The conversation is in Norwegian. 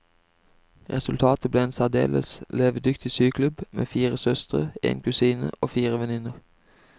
Resultatet ble en særdeles levedyktig syklubb med fire søstre, en kusine og fire venninner.